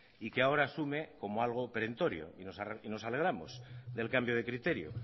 y que ahora asume como algo perentorio y nos alegramos del cambio de criterio